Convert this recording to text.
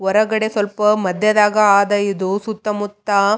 ವರಗಡೆ ಸ್ವಲ್ಪ ಮದ್ಯದಾಗ ಆದ ಇದು ಸುತ್ತ ಮುತ್ತ--